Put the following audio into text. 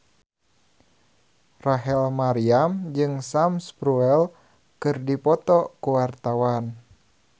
Rachel Maryam jeung Sam Spruell keur dipoto ku wartawan